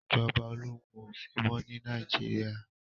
Ìjọba ológun ò sí mọ́ ní Nàìjíríà